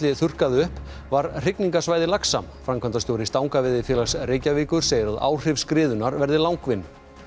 þurrkaði upp var hrygningarsvæði laxa framkvæmdastjóri Stangaveiðifélags Reykjavíkur segir að áhrif verði langvinn